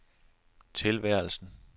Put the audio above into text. tilværelsen